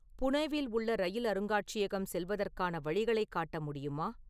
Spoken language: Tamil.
புனேவில் உள்ள ரயில் அருங்காட்சியகம் செல்வதற்கான வழிகளைக் காட்ட முடியுமா?